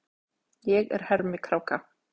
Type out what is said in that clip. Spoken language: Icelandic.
Ég er hermikráka.